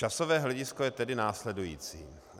Časové hledisko je tedy následující.